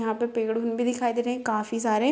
यहाँ पे पेड़ भी दिखाई दे रहे है काफी सारे।